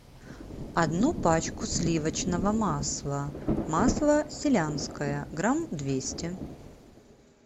одну пачку сливочного масла масло селянское грамм двести